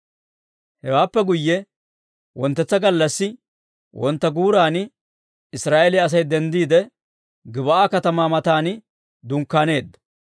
Hewaappe guyye wonttetsa gallassi wontta guuran Israa'eeliyaa Asay denddiide, Gib'aa katamaa matan dunkkaaneedda.